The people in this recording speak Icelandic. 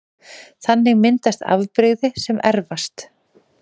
Þannig myndast afbrigði sem erfast